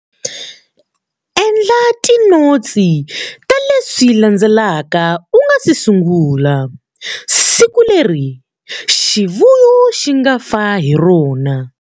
Endla tinotsi ta leswi landzelaka u nga si sungula-siku leri xivuvo xi nga fa hi rona.